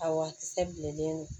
A wakisɛ bilennen